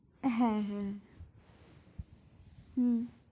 হ্যাঁ, হ্যাঁ হম